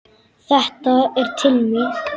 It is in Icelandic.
Þetta er til mín!